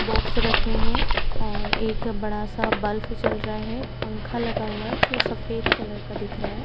Box रखे हैं और एक बड़ा सा बल्ब जल रहा है। पंखा लगा हुआ है जो सफेद कलर का दिख रहा है।